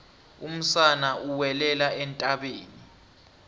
umsana uwelela entabeni